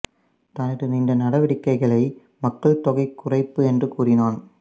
தனது இந்த நடவடிக்கைகளை மக்கள் தொகை குறைப்பு என்று கூறினான்